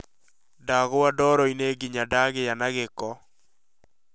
Ndagũa ndoro-inĩ nginya ndagĩa na gĩko